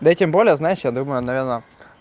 да тем более знаешь я думаю он наверно